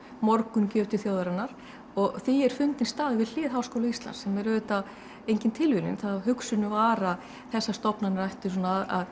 morgungjöf til þjóðarinnar og því er fundinn staður við hlið Háskóla Íslands sem er auðvitað engin tilviljun hugsunin var að þessar stofnanir ættu að